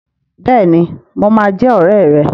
Bẹ́ẹ̀ni, mo máa jẹ́ ọ̀rẹ́ rẹ.